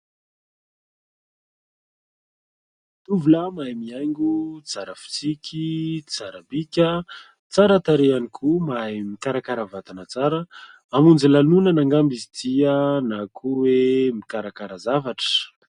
Tovolahy mahay mihaingo, tsara fitsiky, tsara bika, tsara tarehy ihany koa, mahay mikarakara vatana tsara, hamonjy lanonana angamba izy ity na koa hoe mikarakara zavatra.